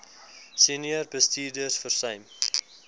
senior bestuurders versuim